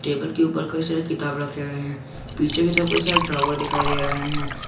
Table के ऊपर कई सारे किताब रखे हुए हैं पीछे की तरफ कई सारे ड्रावर दिखाई दे रहे हैं।